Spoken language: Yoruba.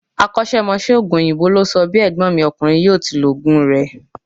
Akósémosé òògùn òyìnbó ló sọ bí ègbón mi ọkùnrin yíò ti lo òògùn rè